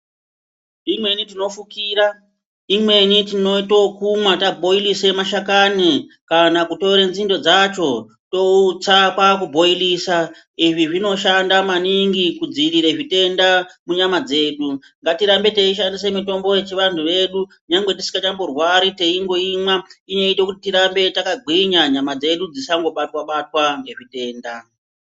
Imweni tinofukira imweni tinoito yekumwa tabhoirise mashakani kana kutore nzinde dzacho toutsa kwa ku bhoirisa izvi zvinoshanda maningi kudziirira zvitenda munyama dzedu. Ngatirambe teishandisa mitombo yechivanhu vedu nyangwe tisingamborwari taingoimwa inoita kuti tirambe takagwinya nyama dzedu dzisango batwa batwa ngezvitenda.